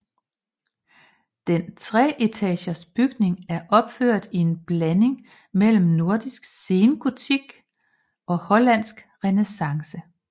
Den treetagers bygning er opført i en blanding mellem nordisk sengotik og hollandsk renæssance